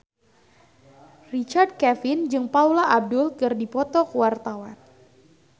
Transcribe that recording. Richard Kevin jeung Paula Abdul keur dipoto ku wartawan